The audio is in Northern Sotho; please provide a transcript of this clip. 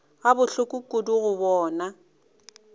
go bohloko kudu go bona